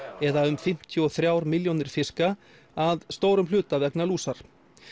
eða um fimmtíu og þrjár milljónir fiska að stórum hluta vegna lúsar